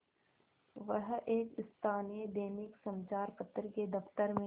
वह एक स्थानीय दैनिक समचार पत्र के दफ्तर में